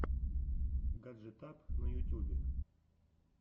гаджетап на ютюбе